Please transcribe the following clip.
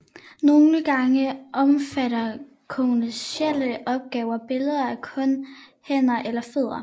Nogle gange omfatter kommercielle opgaver billeder af kun hænder eller fødder